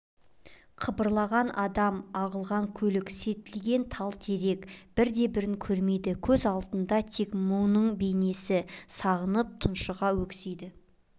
қыбырлаған адам ағылған көлік селтиген тал-терек бірде-бірін көрмейді көз алдында тек мұның бейнесі сағынып тұншыға өксиді